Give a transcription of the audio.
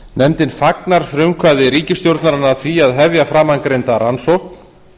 nefndin fagnar frumkvæði ríkisstjórnarinnar að því að hefja framangreinda rannsókn